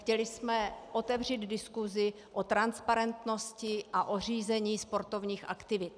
Chtěli jsme otevřít diskusi o transparentnosti a o řízení sportovních aktivit.